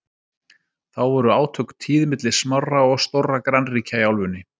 Þá voru átök tíð milli smárra og stórra grannríkja í álfunni.